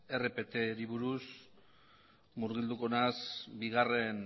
rptari buruz murgilduko naiz bigarren